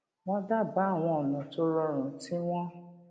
wón dábàá àwọn ònà tó rọrùn tí wón